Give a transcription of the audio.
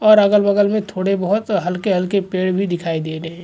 और अगल बगल में थोड़े बहुत हल्के हल्के पेड़ भी दिखाई दे रहे है।